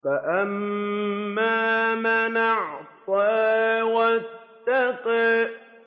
فَأَمَّا مَنْ أَعْطَىٰ وَاتَّقَىٰ